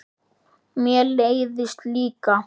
Mér leiðist líka.